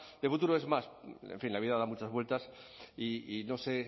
de futuro es más en fin la vida da muchas vueltas y no sé